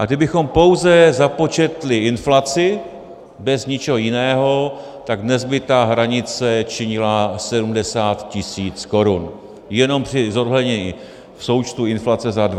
A kdybychom pouze započetli inflaci bez ničeho jiného, tak dnes by ta hranice činila 70 tisíc korun jenom při zohlednění součtu inflace za 22 let.